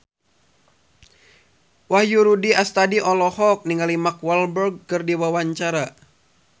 Wahyu Rudi Astadi olohok ningali Mark Walberg keur diwawancara